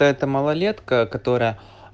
эта малолетка которая